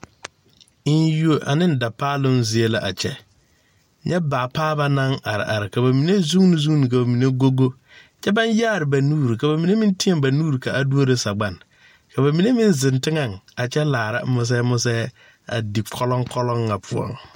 Enyuo aneŋ dapaaloŋ zie la a kyɛ nyɛ baapaaba naŋ are are ka ba mine zuune zuune ka ba mine meŋ go go kyɛ baŋ yaare ba nuure ka ba mine meŋ teɛ ba nuure ka a duoro sagban ka ba mine meŋ zeŋ teŋɛŋ a kyɛ laara mosɛɛ mosɛɛ a di kɔlɔŋkɔlɔŋ ŋa poɔŋ.